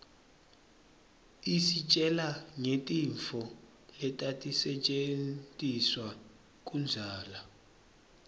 isitjela ngetintfo letatisetjentiswa kudzala